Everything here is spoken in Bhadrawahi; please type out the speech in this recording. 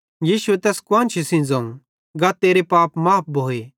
यीशुए तैस कुआन्शी जो ज़ोवं गा तेरे पाप माफ़ भोए